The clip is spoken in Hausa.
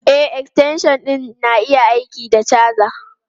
E, extension ɗin na iya yin aiki da caja.